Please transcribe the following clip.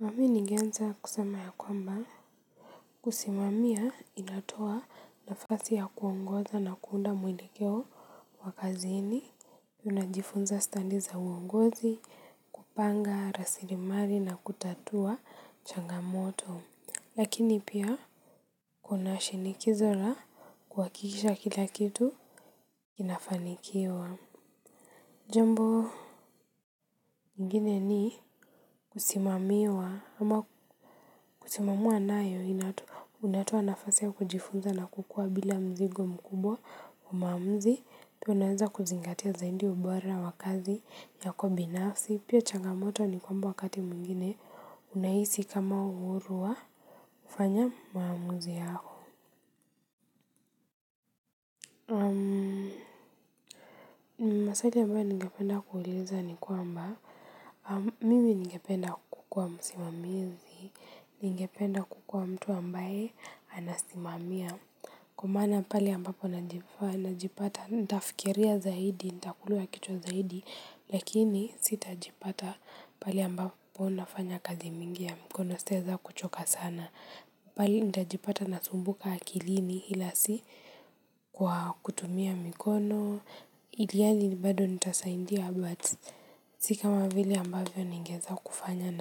Na mimi ningeanza kusema ya kwamba kusimamia inatoa nafasi ya kuongoza na kuunda mwelekeo wa kazini unajifunza stadi za uongozi kupanga rasilmali na kutatua changamoto lakini pia kunashinikizo la kuhakikisha kila kitu kinafanikiwa ingine ni kusimamiwa ama kusimamiwa nayo unatoa nafasi wa kujifunza na kukua bila mzigo mkubwa wa maamuzi pia naweza kuzingatia zaidi ubora wa kazi yako binafsi pia chagamoto ni kwamba wakati mwingine unahisi kama uhuru wa kufanya maamuzi yako maswali ambayo ningependa kuuliza ni kwamba mimi ningependa kukuwa msimamizi ningependa kukua mtu ambaye anasimamia. Kwa maana pale ambapo najipata, nitafikiria zaidi, nitakula kichwa zaidi, lakini sitajipata pale ambapo nafanya kazi mingi ya mikono sitaweza kuchoka sana. Pahali nitajipata nasumbuka akilini ila si kwa kutumia mikono, ili hali bado nitasaidia, but si kama vile ambavyo ningeweza kufanya